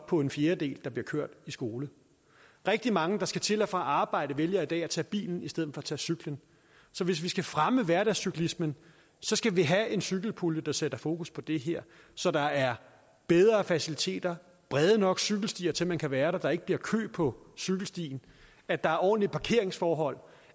på en fjerdedel der bliver kørt i skole rigtig mange der skal til og fra arbejde vælger i dag at tage bilen i stedet for at tage cyklen så hvis vi skal fremme hverdagscyklismen skal vi have en cykelpulje der sætter fokus på det her så der er bedre faciliteter brede nok cykelstier til at man kan være der at der ikke bliver kø på cykelstien at der er ordentlige parkeringsforhold